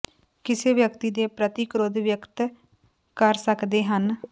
ਕਿਸੇ ਵਿਅਕਤੀ ਦੇ ਪ੍ਰਤੀ ਕ੍ਰੋਧ ਵਿਅਕਤ ਕਰ ਸੱਕਦੇ ਹਨ